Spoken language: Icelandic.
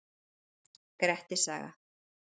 Grettis saga.